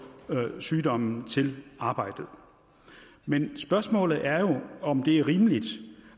sygdommen til arbejdet men spørgsmålet er jo om det er rimeligt